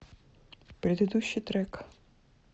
предыдущий трек